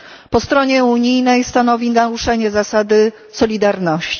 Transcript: Po stronie unijnej stanowi naruszenie zasady solidarności.